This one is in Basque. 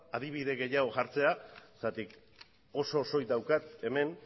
adibide gehiago jartzera zergatik oso osorik daukat hemen